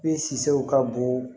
E sisɛw ka bon